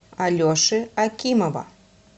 алеши акимова